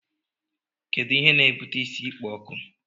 Kedu Ihe n'ebuta isi ịkpọ nku?